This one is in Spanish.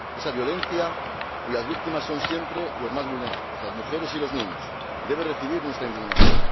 Esa violencia cuyas víctimas son siempre los más vulnerables —las mujeres y los niños— debe merecer nuestra indignación.